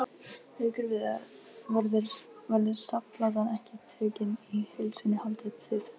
Haukur Viðar: Verður safnplatan tekin í heild sinni haldið þið?